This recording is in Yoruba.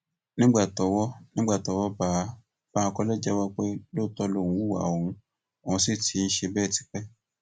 nígbà tọwọ nígbà tọwọ bá a bankole jẹwọ pé lóòótọ lòun hùwà ohun òun sì ti ń ṣe bẹẹ tipẹ